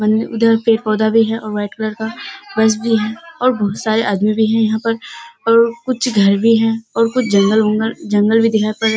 उधर पेड़-पौधा भी हैं और व्हाइट कलर का बस भी है और बोहोत सारे आदमी भी हैं यहाँ पर और कुछ घर भी हैं और जंगल-वंगल जंगल भी दिखाई पड़ रहें हैं।